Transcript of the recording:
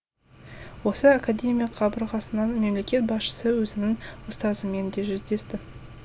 осы академия қабырғасында мемлекет басшысы өзінің ұстазымен де жүздесті